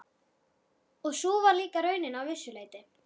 Og sú var líka raunin að vissu leyti.